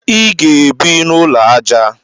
Ị ga-ebi n'ụlọ aja